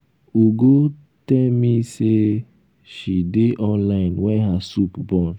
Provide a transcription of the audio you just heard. ugo tell me say she dey online wen her soup burn